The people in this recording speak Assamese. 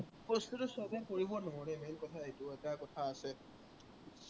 বস্তুটো সৱেই কৰিব নোৱাৰে main কথা সেইটোৱেই। সেইটো এটা কথা আছে